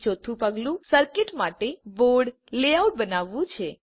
અને ચોથું પગલું સર્કિટ માટે બોર્ડ લેઆઉટ બનાવવાનું છે